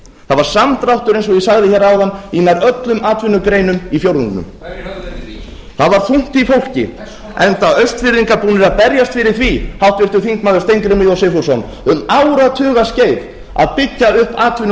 það var samdráttur eins og ég sagði hér áðan í nær öllum atvinnugreinum í fjórðungnum það var þungt í fólki enda austfirðingar búnir að verjast fyrir því háttvirtur þingmaður steingrímur j sigfússon um áratugaskeið að byggja upp atvinnulíf á austurlandi